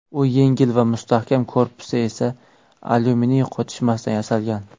U yengil va mustahkam, korpusi esa alyuminiy qotishmasidan yasalgan.